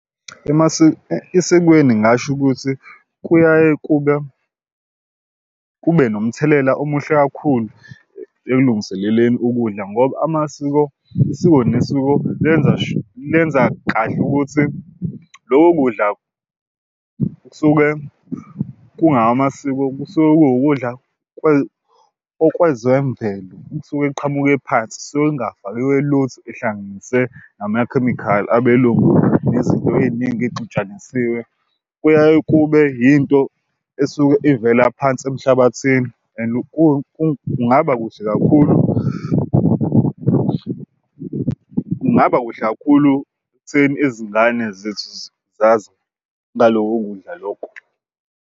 Esikweni ngingasho ukuthi kuyaye kube kube nomthelela omuhle kakhulu ekulungiseleleni ukudla ngoba amasiko isiko nesiko lenza lenza kahle ukuthi loko kudla kusuke kungamasiko kusuke kuwukudla okwezemvelo kusuke kuqhamuke phansi. Kusuke kungafakiwe lutho ehlanganise namakhemikhali, abelungu nezinto ey'ningi ey'xutshanisiwe. Kuyaye kube yinto esuke ivela phansi emhlabathini and kungaba kuhle kakhulu kungaba kuhle kakhulu ekutheni izingane zethu zazi ngaloko kudla loko.